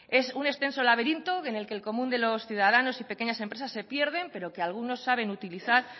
es un extenso laberinto en el que común de los ciudadanos y pequeñas empresas se pierden pero que algunos saben utilizar